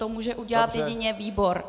To může udělat jedině výbor.